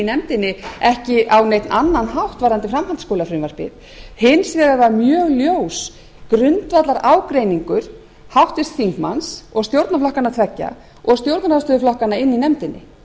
nefndinni ekki á neinn annan hátt varðandi framhaldsskólafrumvarpið hins vegar var mjög ljós grundvallarágreiningur háttvirts þingmanns og stjórnarflokkanna tveggja og stjórnarandstöðuflokkanna inni í nefndinni